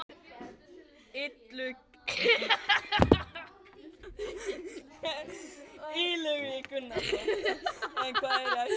Illugi Gunnarsson: En hvað er í hættu?